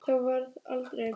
Það varð aldrei.